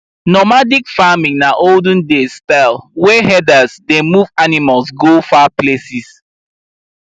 normadic farming na olden days style wey herders dey move animals go far places